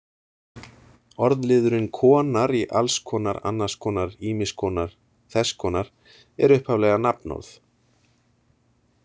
Orðliðurinn-konar í alls konar, annars konar, ýmiss konar, þess konar er upphaflega nafnorð.